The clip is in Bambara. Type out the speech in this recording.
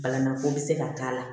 Balaman ko bi se ka k'a la